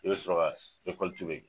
I be sɔrɔ ka kɛ.